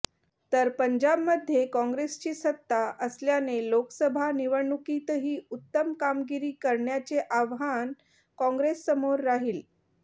तर पंजाबमध्ये कॉंग्रेसची सत्ता असल्याने लोकसभा निवडणुकीतही उत्तम कामगिरी करण्याचे आव्हान कॉंग्रेससमोर राहील